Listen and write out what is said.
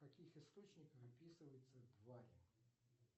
в каких источниках описываются твари